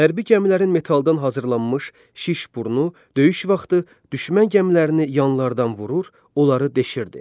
Hərbi gəmilərin metaldan hazırlanmış şiş burnu döyüş vaxtı düşmən gəmilərini yanlardan vurur, onları deşirdi.